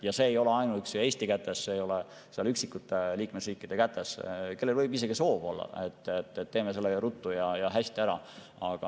Ja see ei ole ainuüksi Eesti kätes, see ei ole üksikute liikmesriikide kätes, kellel võib isegi olla soov, et teeme ruttu ja hästi ära.